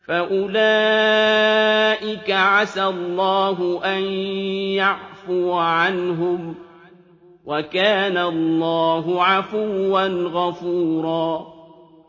فَأُولَٰئِكَ عَسَى اللَّهُ أَن يَعْفُوَ عَنْهُمْ ۚ وَكَانَ اللَّهُ عَفُوًّا غَفُورًا